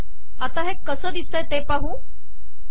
आता हे कसे दिसते ते पाहू